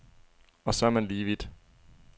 Og så er man lige vidt.